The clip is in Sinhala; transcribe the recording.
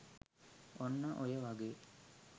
ඔන්න ඔය වගේ